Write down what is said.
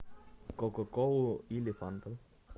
кока колу или фанту